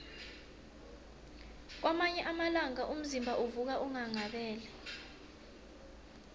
kwamanye amalanga umzimba uvuka unghanghabele